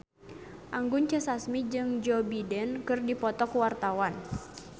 Anggun C. Sasmi jeung Joe Biden keur dipoto ku wartawan